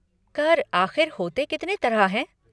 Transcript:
कर आख़िर होते कितने तरह हैं?